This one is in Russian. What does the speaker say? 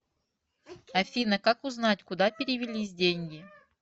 афина как узнать куда перевелись деньги